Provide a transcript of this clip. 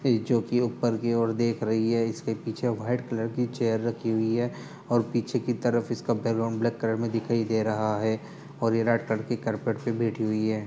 ये जो की ऊपर की और देख रही है इसके पीछे वाईट कलर की चेयर रखी हुई है और पीछे की तरफ इसका बैकग्राउंड ब्लैक कलर में दिखाई दे रहा है। और ये रेड कड़की करपेट पे (पर) बेठी हुई है।